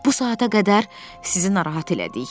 Bu saata qədər sizi narahat elədik.